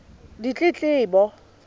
ditletlebo